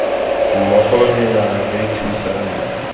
mmogo re ne ra thusana